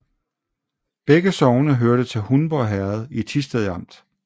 Begge sogne hørte til Hundborg Herred i Thisted Amt